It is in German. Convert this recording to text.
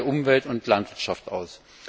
Wie sieht es bei Umwelt und Landwirtschaft aus?